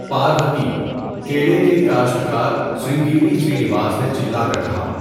پاروتی، کیلے کے کاشت کار سرنگیری سرینیواس نے چِلّا کر کہا۔